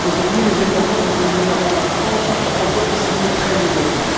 Aujourd'hui, les États membres, et singulièrement la France, envoient des signaux très négatifs.